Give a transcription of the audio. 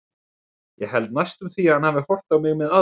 Ég held næstum því að hann hafi horft á mig með aðdáun.